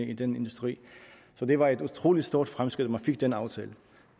i den industri så det var et utrolig stort fremskridt at man fik den aftale